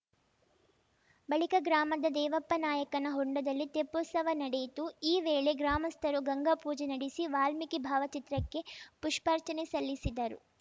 ಬಳಿಕ ಗ್ರಾಮದ ದೇವಪ್ಪನಾಯಕನ ಹೊಂಡದಲ್ಲಿ ತೆಪ್ಪೋತ್ಸವ ನಡೆಯಿತು ಈ ವೇಳೆ ಗ್ರಾಮಸ್ಥರು ಗಂಗಾ ಪೂಜೆ ನಡೆಸಿ ವಾಲ್ಮೀಕಿ ಭಾವಚಿತ್ರಕ್ಕೆ ಪುಷ್ಪಾರ್ಚನೆ ಸಲ್ಲಿಸಿದರು